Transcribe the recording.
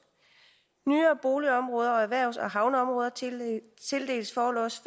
nyere boligområder og erhvervs og havneområder tildeles forlods